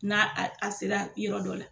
N'a a a sera yɔrɔ dɔ la,